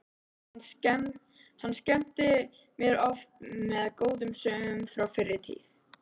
Hann skemmti mér oft með góðum sögum frá fyrri tíð.